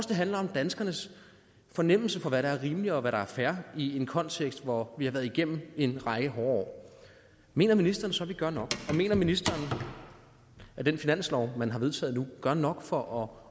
det handler om danskernes fornemmelse for hvad der er rimeligt og hvad der er fair i en kontekst hvor vi har været igennem en række hårde år mener ministeren så vi gør nok og mener ministeren at den finanslov man har vedtaget nu gør nok for